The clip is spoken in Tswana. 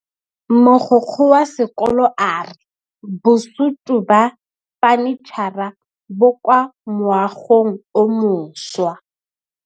Mogokgo wa sekolo a re bosutô ba fanitšhara bo kwa moagong o mošwa.